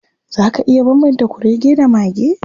Za ka iya bambanta kurege da mage?